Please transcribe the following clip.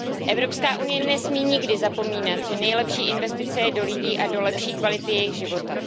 Evropská unie nesmí nikdy zapomínat, že nejlepší investice je do lidí a do lepší kvality jejich života.